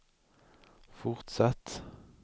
fortsatt